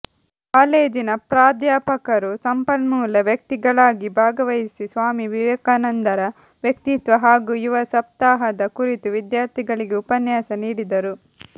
ಕಾಲೇಜಿನ ಪ್ರಾಧ್ಯಾಪಕರು ಸಂಪನ್ಮೂಲ ವ್ಯಕ್ತಿಗಳಾಗಿ ಭಾಗವಹಿಸಿ ಸ್ವಾಮಿ ವಿವೇಕಾನಂದರ ವ್ಯಕ್ತಿತ್ವ ಹಾಗೂ ಯುವ ಸಪ್ತಾಹದ ಕುರಿತು ವಿದ್ಯಾರ್ಥಿಗಳಿಗೆ ಉಪನ್ಯಾಸ ನೀಡಿದರು